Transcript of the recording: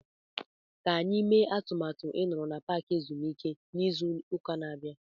Ka anyị mee atụmatụ ịnọrọ na paaki ezumike n'izu ụka na-abịa.